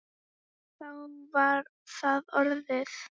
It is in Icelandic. Það var þá orðið!